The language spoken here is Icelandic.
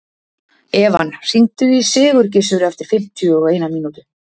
Evan, hringdu í Sigurgissur eftir fimmtíu og eina mínútur.